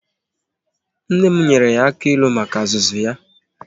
Nne m nyere ya aka ilu maka azụzu ya